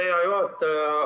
Hea juhataja!